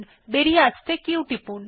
বেরিয়ে আসতে q টিপুন